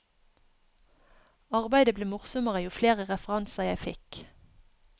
Arbeidet ble morsommere jo flere referanser jeg fikk.